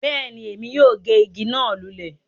Bẹ́ẹ̀ni, èmi yóò gé ìgi náà lulẹ̀